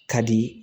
Ka di